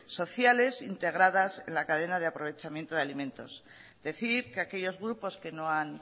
sociales integradas en la cadena de aprovechamiento de alimentos decir que aquellos grupos que no han